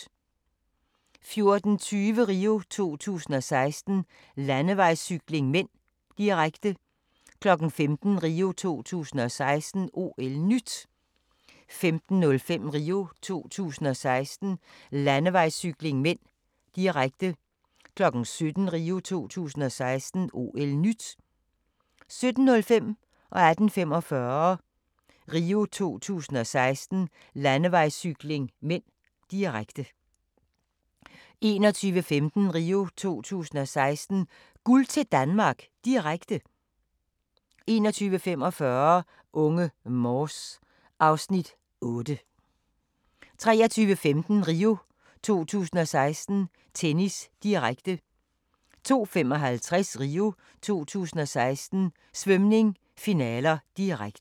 14:20: RIO 2016: Landevejscykling (m), direkte 15:00: RIO 2016: OL-NYT 15:05: RIO 2016: Landevejscykling (m), direkte 17:00: RIO 2016: OL-NYT 17:05: RIO 2016: Landevejscykling (m), direkte 18:45: RIO 2016: Landevejscykling (m), direkte 21:15: RIO 2016: Guld til Danmark, direkte 21:45: Unge Morse (Afs. 8) 23:15: RIO 2016: Tennis, direkte 02:55: RIO 2016: Svømning - finaler, direkte